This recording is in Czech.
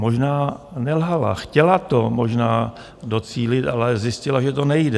Možná nelhala, chtěla to možná docílit, ale zjistila, že to nejde.